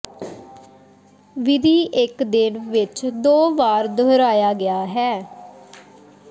ਵਿਧੀ ਇੱਕ ਦਿਨ ਵਿੱਚ ਦੋ ਵਾਰ ਦੁਹਰਾਇਆ ਗਿਆ ਹੈ